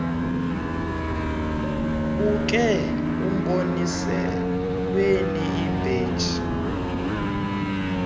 ubeke emboniselweni ibheji